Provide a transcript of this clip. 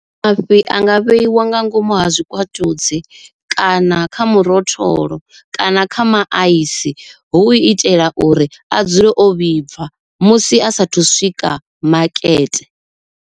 Mafhi a nga vheiwa nga ngomu ha zwikwatudzi kana kha murotholo kana kha maaisi hu itela uri a dzule o vhibva musi asathu swika makete.